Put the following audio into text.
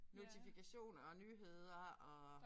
Notifikationer og nyheder og